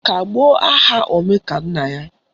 Kagbuo aha Omekannaya